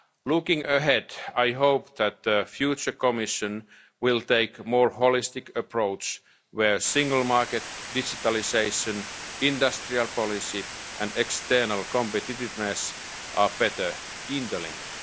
under negotiation. Looking ahead, I hope that the future Commission will take a more holistic approach, within which the single market, digitalisation, industrial policy and external competitiveness are